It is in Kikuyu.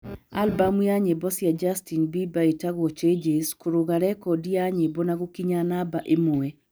Albumu ya nyĩmbo cia Justin Beiber ĩtagwo 'Changes' kũrũga rekondi ya nyĩmbo na gũkinya namba ĩmwe.